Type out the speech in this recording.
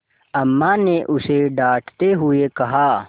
अम्मा ने उसे डाँटते हुए कहा